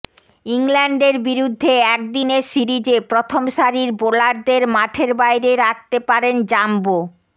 ইংল্যান্ডের বিরুদ্ধে একদিনের সিরিজে প্রথম সারির বোলারদের মাঠের বাইরে রাখতে পারেন জাম্বো